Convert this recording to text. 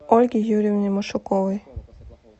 ольги юрьевны машуковой